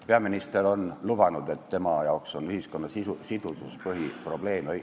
Peaminister on öelnud, et tema arvates on ühiskonna sidusus üks põhiprobleeme.